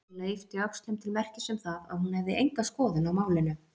Kamilla yppti öxlum til merkis um það að hún hefði enga skoðun á málinu.